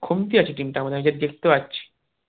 খামতি আছে team টার মধ্যে আমি যে দেখতে পাচ্ছি